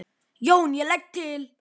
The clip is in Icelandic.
JÓN: Ég legg til.